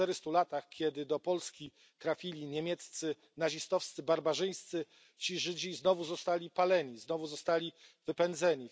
Po czterystu latach, kiedy do Polski trafili niemieccy nazistowscy barbarzyńcy, Żydzi znowu byli paleni, znowu zostali wypędzeni.